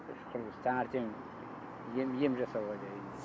іш құрылыс таңертең ем ем жасауға